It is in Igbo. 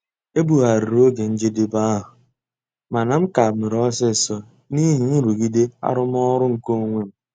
Ebugharịrị oge njedebe ahụ, mana m ka mere ọsịsọ n'ihi nrụgide arụmọrụ nke onwe m.